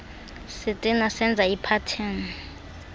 sitena senza iphatheni